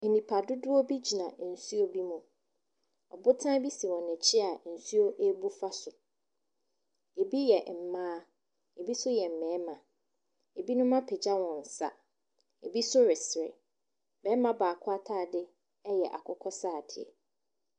Nipadodoɔ bi gyina nsuo bi mu. Ɔbotan bi si wɔn akyi a nuo rebu fa so. Ɛbi yɛ mmaa, ɛbi nso yɛ mmarima. Ɛbinom apagya wɔn nsa. Ɛbi nso resere. Barima baako atadeɛ yɛ akokɔsradeɛ.